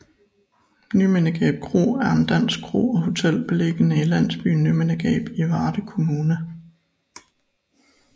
Nymindegab Kro er en dansk kro og hotel beliggende i landsbyen Nymindegab i Varde Kommune